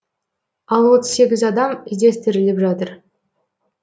ал отыз сегіз адам іздестіріліп жатыр